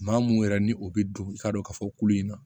Maa mun yɛrɛ ni o bɛ don i t'a dɔn k'a fɔ kulu in na